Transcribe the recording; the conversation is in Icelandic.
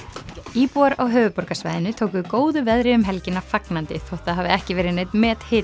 íbúar á höfuðborgarsvæðinu tóku góðu veðri um helgina fagnandi þótt það hafi ekki verið neinn